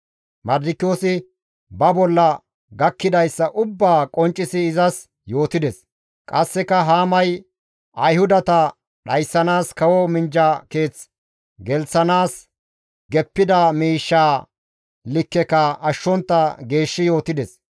Mardikiyoosi ba bolla gakkidayssa ubbaa qonccisi izas yootides. Qasseka Haamay Ayhudata dhayssanaas kawo minjja keeth gelththanaas geppida miishshaa likkeka ashshontta geeshshi yootides.